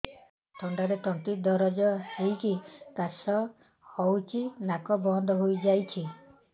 ଥଣ୍ଡାରେ ତଣ୍ଟି ଦରଜ ହେଇକି କାଶ ହଉଚି ନାକ ବନ୍ଦ ହୋଇଯାଉଛି